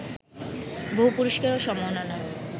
বহু পুরস্কার ও সম্মাননায়